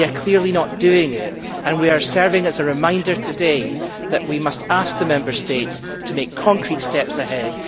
They are clearly not doing this, and we are serving a reminder today that we must ask the Member States to make concrete steps ahead.